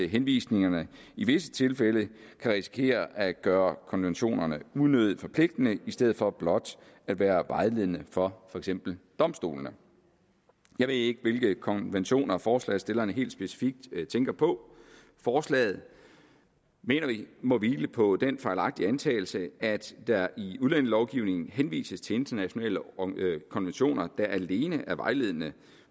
henvisningerne i visse tilfælde kan risikere at gøre konventionerne unødigt forpligtende i stedet for blot at være vejledende for for eksempel domstolene jeg ved ikke hvilke konventioner forslagsstillerne helt specifikt tænker på forslaget mener vi må hvile på den fejlagtige antagelse at der i udlændingelovgivningen henvises til internationale konventioner der alene er vejledende